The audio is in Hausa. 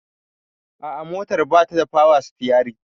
A'a motar batada power stiyari